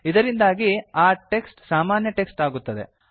ಇದರಿಂದಾಗಿ ಆ ಟೆಕ್ಸ್ಟ್ ಸಾಮಾನ್ಯ ಟೆಕ್ಸ್ಟ್ ಆಗುತ್ತದೆ